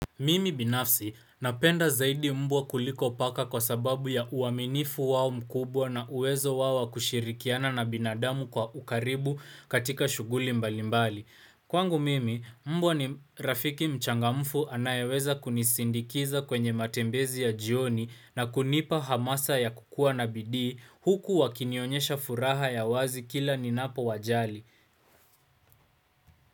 Mimi binafsi napenda zaidi mbwa kuliko paka kwa sababu ya uaminifu wao mkubwa na uwezo wao wa kushirikiana na binadamu kwa ukaribu katika shughuli mbalimbali. Kwangu mimi, mbwa ni rafiki mchangamfu anayeweza kunisindikiza kwenye matembezi ya jioni na kunipa hamasa ya kukua na bidii huku wakinionyesha furaha ya wazi kila ninapowajali.